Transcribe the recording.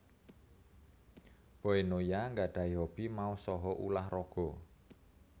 Boy Noya nggadhahi hobi maos saha ulah raga